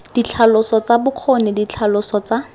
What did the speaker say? ditlhaloso tsa bokgoni ditlhaloso tsa